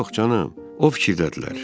Yox, canım, o fikirdədirlər.